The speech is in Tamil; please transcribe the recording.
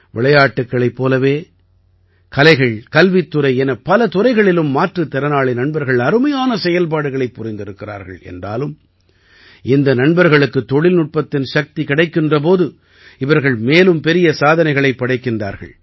விளையாட்டுக்களைப் போலவே கலைகள் கல்வித்துறை என பல துறைகளிலும் மாற்றுத் திறனாளி நண்பர்கள் அருமையான செயல்பாடுகளைப் புரிந்திருக்கிறார்கள் என்றாலும் இந்த நண்பர்களுக்குத் தொழில்நுட்பத்தின் சக்தி கிடைக்கின்ற போது இவர்கள் மேலும் பெரிய சாதனைகளைப் படைக்கின்றார்கள்